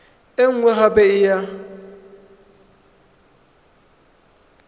e nngwe gape e ya